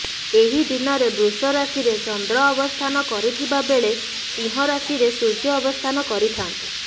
ଏହି ଦିନରେ ବୃଷ ରାଶିରେ ଚନ୍ଦ୍ର ଅବସ୍ଥାନ କରିଥିବାବେଳେ ସିଂହ ରାଶିରେ ସୂର୍ଯ୍ୟ ଅବସ୍ଥାନ କରିଥାନ୍ତି